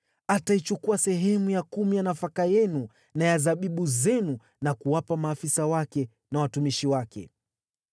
Ataichukua sehemu ya kumi ya nafaka yenu na ya zabibu zenu na kuwapa maafisa wake na watumishi wake.